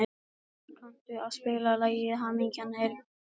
Hafbjörg, kanntu að spila lagið „Hamingjan er krítarkort“?